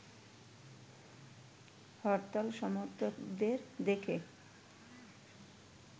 হরতাল সমর্থকদের দেখে